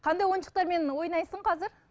қандай ойыншықтармен ойнайсың қазір